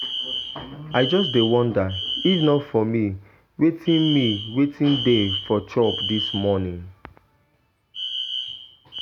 I just dey wonder, if not for me wetin me wetin dey for chop dis morning.